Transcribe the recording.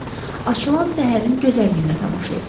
Açılan səhərin gözəlliyinə tamaşa edir.